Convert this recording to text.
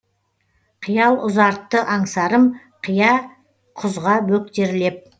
қиял ұзартты аңсарым қия құзға бөктерлеп